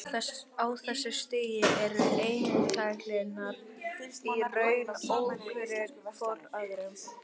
Á þessu stigi eru einstaklingarnir í raun ókunnugir hvor öðrum.